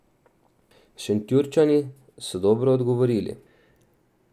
Šentjurčani so dobro odgovorili.